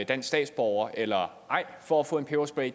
dansk statsborger eller ej for at få en peberspray